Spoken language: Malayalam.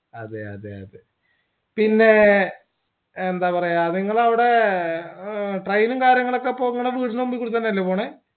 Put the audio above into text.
അതെ അതെ അതെ പിന്നേ യെന്താപറയ നിങ്ങളെ അവിടെ ഏഹ് train ഉം കാര്യങ്ങളൊക്കെ ഇപ്പൊ ഇങ്ങളെ വീട്ടിന്റെ മുമ്പികൂടെ തന്നെയല്ലെ പോണെ